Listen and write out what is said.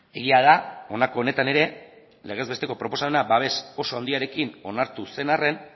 egia da honako honetan ere legez besteko proposamena babes oso handiarekin onartu zen arren